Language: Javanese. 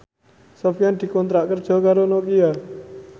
Sofyan dikontrak kerja karo Nokia